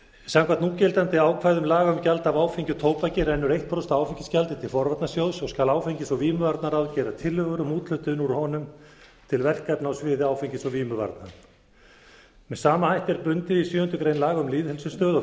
samkvæmt núgildandi ákvæðum laga um gjald af áfengi og tóbaki rennur eitt prósent af áfengisgjaldi til forvarnasjóð og skal áfengis og vímuvarnaráð gera tillögur um úthlutun úr honum til verkefna á sviði áfengis og vímuvarna með sama hætti er bundið í sjöundu grein laga um lýðheilsustöð og